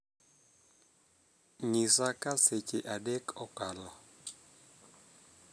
nyisa ka seche adek okalo